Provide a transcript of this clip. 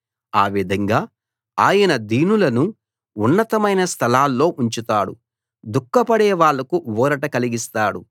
ఆ విధంగా ఆయన దీనులను ఉన్నతమైన స్థలాల్లో ఉంచుతాడు దుఃఖపడే వాళ్ళకు ఊరట కలిగిస్తాడు